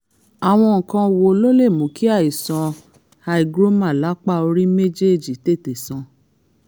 àwọn nǹkan wo ló lè mú kí àìsàn hygroma lápá orí méjéèjì tètè san?